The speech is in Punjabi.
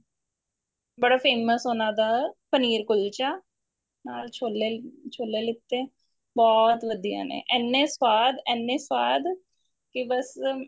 ਬੜਾ famous ਉਹਨਾ ਦਾ ਪਨੀਰ ਕੁਲਚਾ ਨਾਲ ਛੋਲੇ ਛੋਲੇ ਲਿੱਤੇ ਬਹੁਤ ਵਧੀਆ ਨੇ ਇੰਨੇ ਸਵਾਦ ਇੰਨੇ ਸਵਾਦ ਕੀ ਬੱਸ